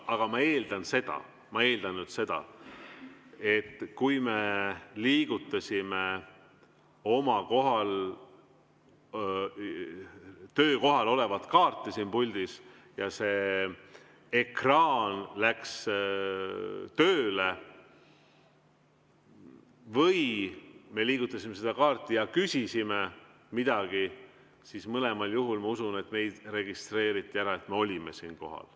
Aga ma eeldan seda, et kui me liigutasime oma töökohal puldis olevat kaarti ja see ekraan läks tööle, või me liigutasime seda kaarti ja küsisime midagi, siis mõlemal juhul ma usun, et registreeriti ära, et me olime kohal.